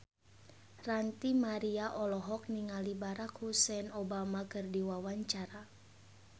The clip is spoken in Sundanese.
Ranty Maria olohok ningali Barack Hussein Obama keur diwawancara